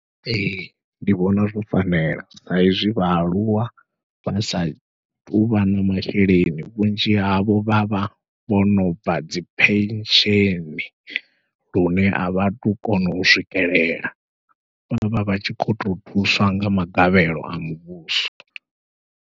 Ee ndi vhona zwo fanela saizwi vhaaluwa vha sa tuvha na masheleni, vhunzhi havho vha vha vhono bva dzi pension lune avha tu kona u swikelela vhavha vhatshi kho to thuswa nga magavhelo a muvhuso.